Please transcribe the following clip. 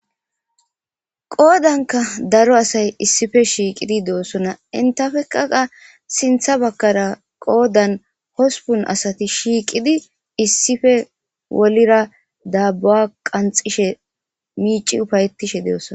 qoodanka daro asay issife shiiqidi de7osona intafekaqa sintha bakkara qoodan hospun asati shiiqidi issife wolira daabbuwa qanxishe miici ufayetishe de7osona